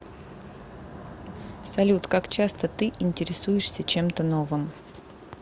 салют как часто ты интересуешься чем то новым